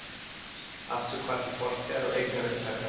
Afturhvarf til fortíðar og eignaupptaka